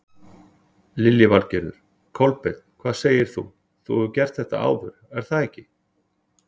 Lillý Valgerður: Kolbeinn hvað segir þú, þú hefur gert þetta áður er það ekki?